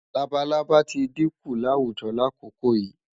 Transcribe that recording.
Labalábá tí dínkù láwùjo lákòókò yìí.